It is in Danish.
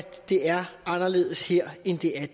det er anderledes her end det er